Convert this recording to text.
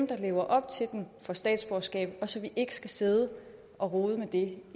der lever op til dem får statsborgerskab og så vi ikke skal sidde og rode med det